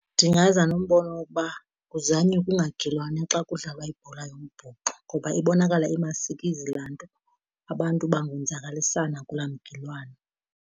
Ndingaza nombono wokuba kuzanywe kungagilwana xa kudlalwa ibhola yombhoxo ngoba ibonakala emasikizi laa nto. Abantu bangonzakalisana kulaa mgilwano.